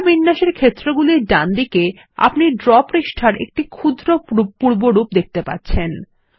পৃষ্ঠা বিন্যাস এর ক্ষেত্রগুলির ডানদিকে আপনি ড্র পৃষ্ঠাটির একটি ক্ষুদ্র পূর্বরূপ দেখতে পাচ্ছেন